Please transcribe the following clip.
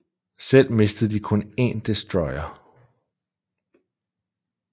Selv mistede de kun en destroyer